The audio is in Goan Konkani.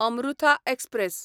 अमृथा एक्सप्रॅस